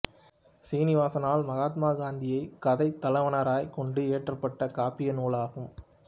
சீனிவாசனால் மகாத்மா காந்தியைத் கதைத்தலைவராய்க் கொண்டு இயற்றப்பட்ட காப்பிய நூல் ஆகும்